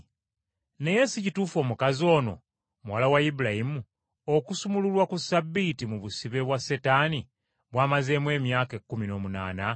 Naye si kituufu omukazi ono, muwala wa Ibulayimu, okusumululwa ku Ssabbiiti mu busibe bwa Setaani bw’amazeemu emyaka ekkumi n’omunaana?”